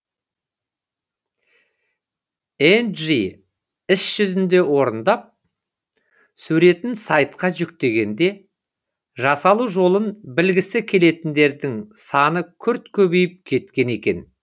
энджи іс жүзінде орындап суретін сайтқа жүктегенде жасалу жолын білгісі келетіндердің саны күрт көбейіп кеткен екен